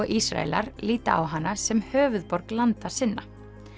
Ísraelar líta á hana sem höfuðborg landa sinna